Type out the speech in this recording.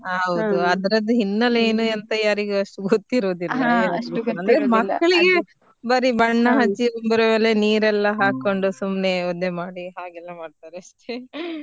ಹ ಹೌದು ಅದ್ರದ್ದು ಹಿನ್ನಲೆ ಏನು ಎಂತ ಯಾರಿಗೂ ಅಷ್ಟು ಗೊತ್ತಿರುದಿಲ್ಲ ಅಂದ್ರೆ ಮಕ್ಕಳಿಗೆ ಬರೀ ಬಣ್ಣ ಹಚ್ಚಿ ಮೇಲೆ ನೀರೆಲ್ಲ ಹಾಕೊಂಡು ಸುಮ್ನೆ ಒದ್ದೆ ಮಾಡಿ ಹಾಗೆಲ್ಲಾ ಮಾಡ್ತಾರೆ ಅಷ್ಟೇ .